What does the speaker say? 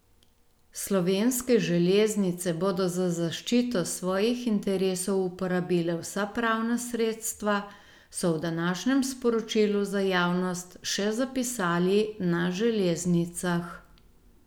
Slovenske železnice bodo za zaščito svojih interesov uporabile vsa pravna sredstva, so v današnjem sporočilu za javnost še zapisali na železnicah.